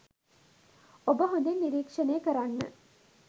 ඔබ හොඳින් නිරීක්‍ෂණය කරන්න